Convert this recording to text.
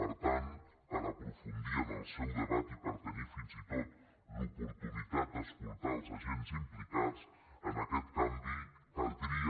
per tant per aprofundir en el seu debat i per tenir fins i tot l’oportunitat d’escoltar els agents implicats en aquest canvi caldria